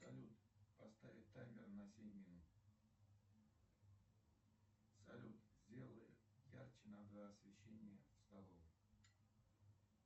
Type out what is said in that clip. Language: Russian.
салют поставить таймер на семь минут салют сделай ярче на два освещения в столовой